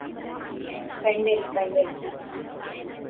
pendant pendant